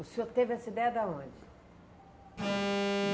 O senhor teve essa ideia da onde?